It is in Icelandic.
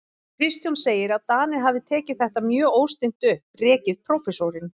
Kristján segir, að Danir hafi tekið þetta mjög óstinnt upp, rekið prófessorinn